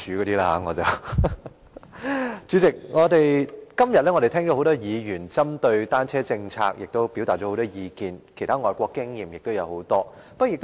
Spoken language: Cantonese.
代理主席，今天聽到多位議員針對單車政策表達了很多意見，還有很多其他外國經驗的分享。